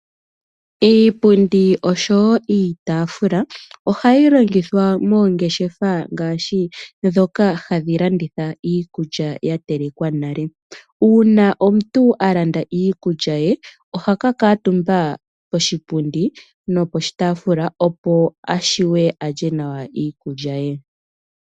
Iipundi oshowo iitaafula ohayi longithwa moongeshefa ngaashi ndhoka hadhi landitha iikulya yatelekwa nale. Uuna omuntu a landa iikulya ye ,oha ka kamutumba poshipundi noposhitaafula opo ashiwe alye nawa iikulya ye.